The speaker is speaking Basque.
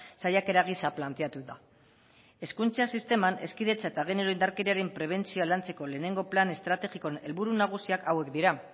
saiakera gisa planteatu da hezkuntza sisteman hezkidetza eta genero indarkeriaren prebentzioa lantzeko lehenengo plan estrategikoan helburu nagusiak hauek dira